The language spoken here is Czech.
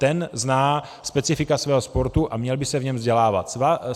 Ten zná specifika svého sportu a měl by se v něm vzdělávat.